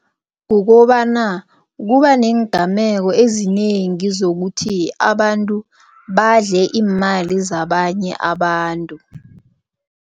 Kukobana kuba neengameko ezinengi zokuthi abantu badle iimali zabanye abantu.